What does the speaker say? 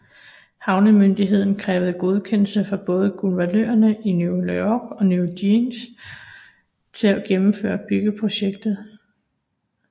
Havnemyndigheden krævede godkendelse fra både guvernørerne i New York og New Jersey til at gennemføre byggeprojektet